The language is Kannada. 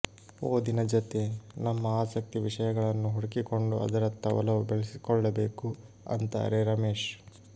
ಓದಿನ ಜತೆ ನಮ್ಮ ಆಸಕ್ತಿ ವಿಷಯಗಳನ್ನು ಹುಡುಕಿಕೊಂಡು ಅದರತ್ತ ಒಲವು ಬೆಳೆಸಿಕೊಳ್ಳಬೇಕು ಅಂತಾರೆ ರಮೇಶ್